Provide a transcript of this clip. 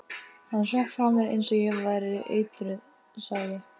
Hann hrökk frá mér eins og ég væri eitruð sagði